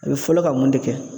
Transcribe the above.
A bɛ fɔlɔ ka mun de kɛ?